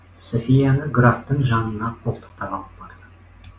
софьяны графтың жанына қолтықтап алып барды